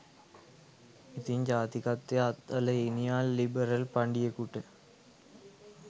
ඉතින් ජාතිකත්වය අත්හළ ඊනියා ලිබරල් පඬියකුට